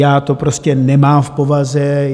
Já to prostě nemám v povaze.